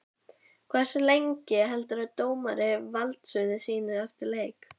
Hversu lengi heldur dómari valdsviði sínu eftir leik?